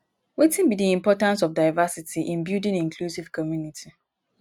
wetin be di importance of diversity in building inclusive community?